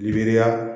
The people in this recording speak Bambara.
Gibiriya